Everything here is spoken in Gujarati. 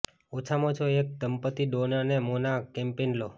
ઓછામાં ઓછા એક દંપતિ ડોન અને મોના કેમ્પેઇન લો